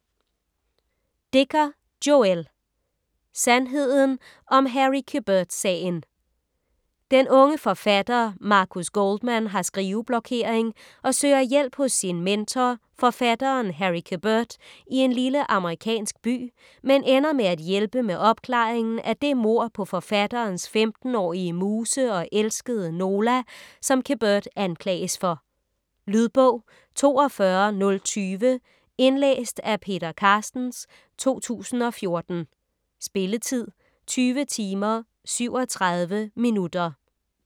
Dicker, Joël: Sandheden om Harry Quebert-sagen Den unge forfatter Marcus Goldman har skriveblokering og søger hjælp hos sin mentor, forfatteren Harry Quebert i en lille amerikansk by, men ender med at hjælpe med opklaringen af det mord på forfatterens 15-årige muse og elskede, Nola, som Quebert anklages for. Lydbog 42020 Indlæst af Peter Carstens, 2014. Spilletid: 20 timer, 37 minutter.